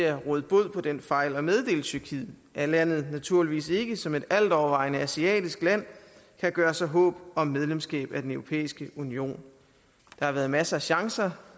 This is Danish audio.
at råde bod på den fejl og meddele tyrkiet at landet naturligvis ikke som et altovervejende asiatisk land kan gøre sig håb om medlemskab af den europæiske union der har været masser af chancer